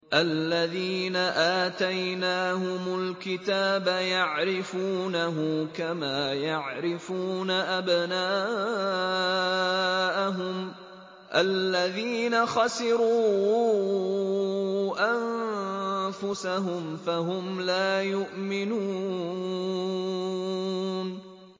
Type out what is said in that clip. الَّذِينَ آتَيْنَاهُمُ الْكِتَابَ يَعْرِفُونَهُ كَمَا يَعْرِفُونَ أَبْنَاءَهُمُ ۘ الَّذِينَ خَسِرُوا أَنفُسَهُمْ فَهُمْ لَا يُؤْمِنُونَ